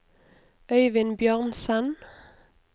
Øyvind Bjørnsen